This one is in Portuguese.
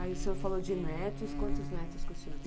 Aí o senhor falou de netos, quantos netos que o senhor tem?